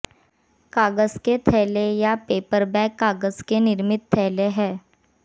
कागज के थैले या पेपर बैग कागज के निर्मित थैले हैं